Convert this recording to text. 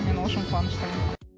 мен ол үшін қуаныштымын